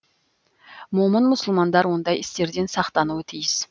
момын мұсылмандар ондай істерден сақтануы тиіс